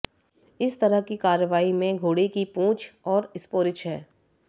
इस तरह की कार्रवाई में घोड़े की पूंछ और स्पोरिच है